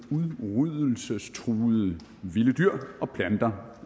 med udryddelsestruede vilde dyr og planter